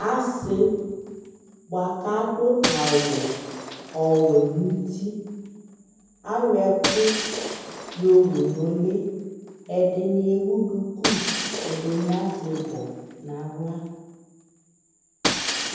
Asɩ bʋa k'adʋ awʋ ɔwɛ n'uti, ayɔɛkʋ yowu n'ʋlɩ Ɛdɩnɩ ewu duku, ɛdɩnɩ azɛ ɩbɔ n'aɣla